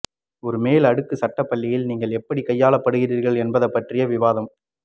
ஒரு மேல் அடுக்கு சட்ட பள்ளியில் நீங்கள் எப்படி கையாளப்படுகிறீர்கள் என்பது பற்றிய விவாதம்